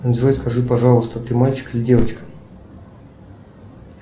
джой скажи пожалуйста ты мальчик или девочка